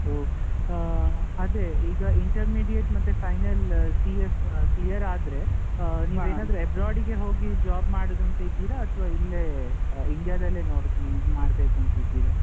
ಹೊ ಆಹ್ ಅದೆ ಈಗ intermediate ಮತ್ತೆ final CA ಸ clear ಆದ್ರೆ ಆಹ್ ನಿವೇನಾದ್ರೂ abroad ಗೆ ಹೋಗಿ job ಮಾಡುದೂಂತ ಇದ್ದೀರಾ, ಅಥವಾ ಇಲ್ಲೇ ಆಹ್ India ದಲ್ಲೆ ನೋಡುದು ಹ್ಮ್ಮ್ ಮಾಡ್ಬೇಕೂಂತ ಇದ್ದೀರಾ?